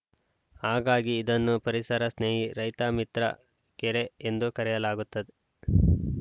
ಹಾಗಾಗಿ ಇದನ್ನು ಪರಿಸರ ಸ್ನೇಹಿ ರೈತ ಮಿತ್ರ ಕೆರೆ ಎಂದು ಕರೆಯಲಾಗುತ್ತೆ